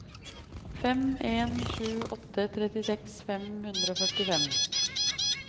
fem en sju åtte trettiseks fem hundre og førtifem